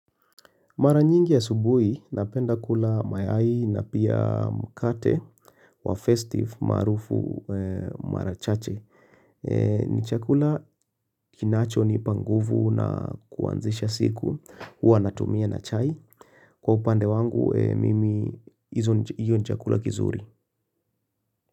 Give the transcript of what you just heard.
Mara nyingi asubuhi, napenda kula mayai na pia mkate wa festive maarufu mara chache. Ni chakula kinachonipa nguvu na kuanzisha siku, huwa natumia na chai. Kwa upande wangu, mimi hizo hiyo ni chakula kizuri.